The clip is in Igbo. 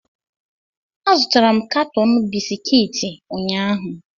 Azụtara m katọn bisikiiti ụnyaahụ